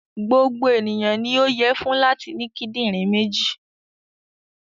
Gbogbo ènìyàn ni ó yẹ fún láti ní kíńdínrìn méjì.